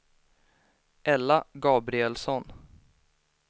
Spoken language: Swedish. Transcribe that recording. Ella Gabrielsson